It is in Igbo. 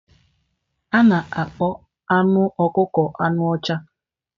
A na-akpọ anụ ọkụkọ anụ ọcha.